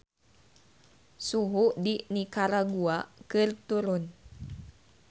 Suhu di Nikaragua keur turun